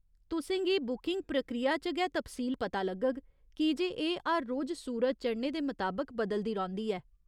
तुसें गी बुकिंग प्रक्रिया च गै तफसील पता लग्गग, कीजे एह् हर रोज सूरज चढ़ने दे मताबक बदलदी रौंह्दी ऐ।